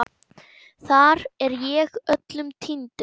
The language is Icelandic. Þar er ég öllum týndur.